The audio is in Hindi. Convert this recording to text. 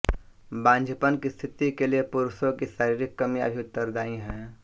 बांझपन की स्थिति के लिए पुरुषों की शारीरिक कमियां भी उत्तरदायी है